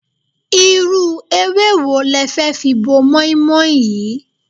Irú ewé wo le fi bo mọ́í-mọ́í yìí?